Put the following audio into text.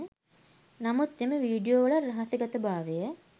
නමුත් එම වීඩියෝ වල රහසිගත භාවය